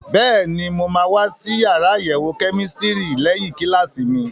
Bẹ́ẹ̀ni, mo máa wá sí yàrá àyẹ̀wò kẹ́mísítírì lẹ́yìn kíláàsì mi.